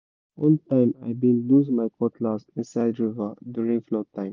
one time i been lose my cutlass inside river during flood time